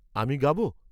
আমি গাব?